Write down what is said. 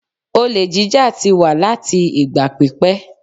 Olè jíjá ti wà láti ìgbà pípẹ́.